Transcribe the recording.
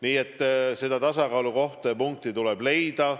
Nii et see tasakaalukoht ja -punkt tuleb leida.